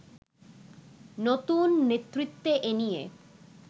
নতুন নেতৃত্বে এনিয়ে